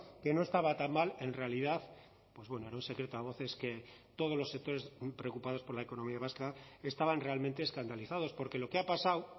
que no estaba tan mal en realidad pues bueno era un secreto a voces que todos los sectores preocupados por la economía vasca estaban realmente escandalizados porque lo que ha pasado